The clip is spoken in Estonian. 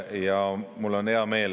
Ja mul on hea meel …